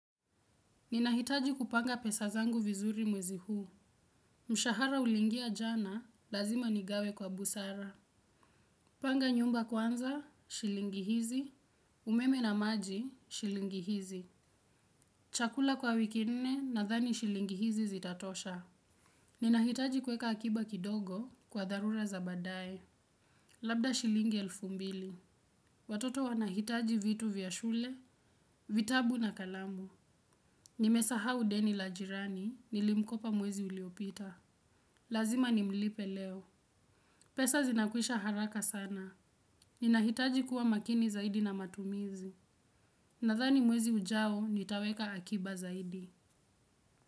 Ninahitaji kupanga pesazangu vizuri mwezi huu. Mushahara ulingia jana lazima nigawe kwa busara. Panga nyumba kwanza, shilingi hizi, umeme na maji, shilingi hizi. Chakula kwa wiki nne na dhani shilingi hizi zitatosha. Ninahitaji kuweka akiba kidogo kwa dharura za badae. Labda shilingi elfu mbili. Watoto wanahitaji vitu vya shule, vitabu na kalamu. Nimesahau deni la jirani nilimkopa mwezi uliopita. Lazima ni mlipe leo. Pesa zinakwisha haraka sana. Ninahitaji kuwa makini zaidi na matumizi. Nadhani mwezi ujao nitaweka aki.